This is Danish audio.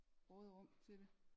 Råderum til det